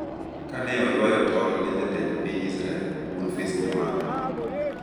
kane oywayo tol ne Jatend Piny Israel, Bonface Nyamanga